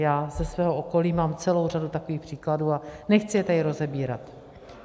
Já ze svého okolí mám celou řadu takových případů a nechci je tady rozebírat.